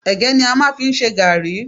Ẹ̀gẹ́ ni a máa ń fi ń ṣe garri.